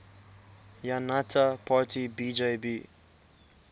janata party bjp